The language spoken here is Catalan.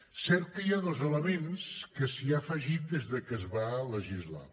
és cert que hi ha dos elements que s’hi han afegit des de que es va legislar